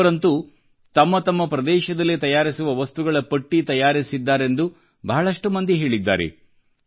ಕೆಲವರಂತೂ ತಮ್ಮ ತಮ್ಮ ಪ್ರದೇಶಗಳಲ್ಲಿ ತಯಾರಿಸುವ ವಸ್ತುಗಳ ಪಟ್ಟಿ ತಯಾರಿಸಿದ್ದಾರೆಂದು ಬಹಳಷ್ಟು ಮಂದಿ ಹೇಳಿದ್ದಾರೆ